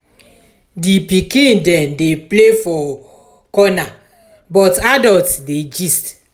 di pikin dem dey play for corner but adult dey gist.